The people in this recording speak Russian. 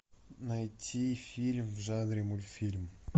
найти фильм в жанре мультфильм